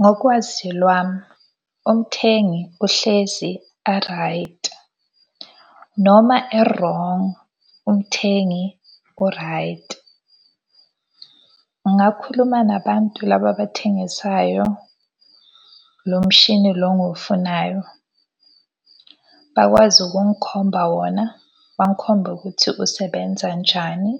Ngokwazi lwami, umthengi uhlezi a-right. Noma e-wrong, umthengi u-right. Ungakhuluma nabantu laba abathengisayo lomshini lo ngufunayo, bakwazi ukungikhomba wona. Bangikhombe ukuthi usebenza njani.